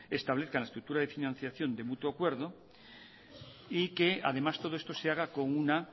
establezcan la estructura de financiación de mutuo acuerdo y que además todo esto se haga con una